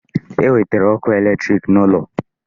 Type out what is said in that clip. E wetere ọkụ electric n'ụlọ